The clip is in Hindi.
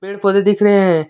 पेड़ पौधे दिख रहे हैं।